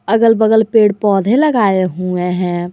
अगल बगल पेड़ पौधे लगाए हुए हैं।